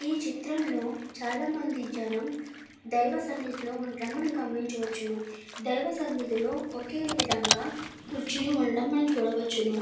ఈ చిత్రంలో చాలా మంది జనం దైవసన్నిధిలో ఉండడం మనము గమనించవచ్చును. దైవసన్నిధులో ఒకే విధంగా కుర్చీలు ఉండడం మనము చూడవచ్చును.